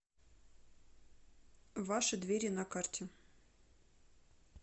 ваши двери на карте